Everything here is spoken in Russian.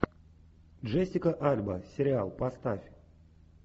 джессика альба сериал поставь